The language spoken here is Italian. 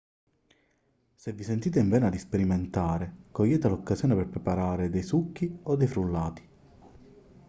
se vi sentite in vena di sperimentare cogliete l'occasione per preparare dei succhi o dei frullati